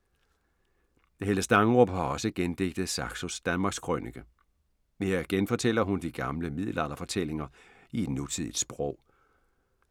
Helle Stangerup har også gendigtet Saxos Danmarkskrønike. Her genfortæller hun de gamle middelalderfortællinger i et nutidigt sprog.